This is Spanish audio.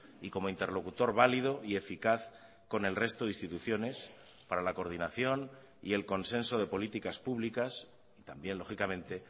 y como interlocutor válido y eficaz con el resto de instituciones para la coordinación y el consenso de políticas públicas y también lógicamente